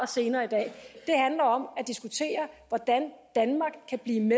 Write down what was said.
senere i dag handler om at diskutere hvordan danmark kan blive